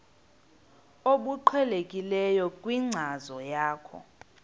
obuqhelekileyo kwinkcazo yakho